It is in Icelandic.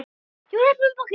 Ég var heppin með bakarí.